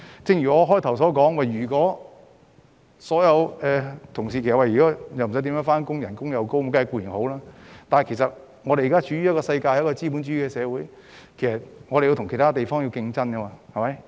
正如我在開始時說過，員工不需要經常上班並享高薪金，這固然是好事，但我們現時身處資本主義社會，必須跟其他地方競爭。